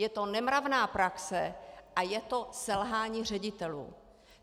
Je to nemravná praxe a je to selhání ředitelů.